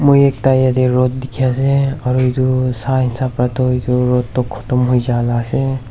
moi ekta yate road dikhi ase aro itu sai hisab para toh itu road toh khotom hoi ja la ase.